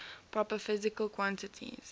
proper physical quantities